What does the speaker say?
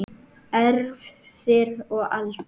Erfðir og aldur